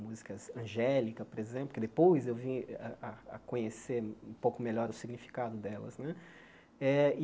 Músicas angélica, por exemplo, que depois eu vim a a a conhecer um pouco melhor o significado delas né. Eh